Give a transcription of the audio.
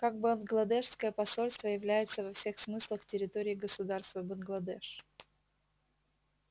как бангладешское посольство является во всех смыслах территорией государства бангладеш